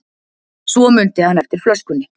Svo mundi hann eftir flöskunni.